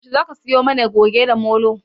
Yaushe Zaka siyo mana Goge da Molo?